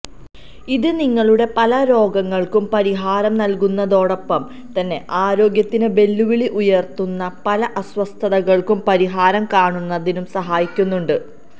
ഇത് നിങ്ങളുടെ പല രോഗങ്ങള്ക്കും പരിഹാരം നല്കുന്നതോടൊപ്പം തന്നെ ആരോഗ്യത്തിന് വെല്ലുവിളി ഉയര്ത്തുന്ന പല അസ്വസ്ഥതകള്ക്കും പരിഹാരം കാണുന്നതിനും സഹായിക്കുന്നുണ്ട്